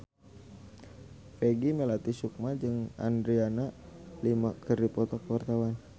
Peggy Melati Sukma jeung Adriana Lima keur dipoto ku wartawan